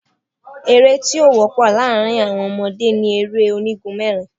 Eré́ tí ó wọ́pọ̀ láàrin àwọn ọmọdé ni eré onígun mẹ́rin.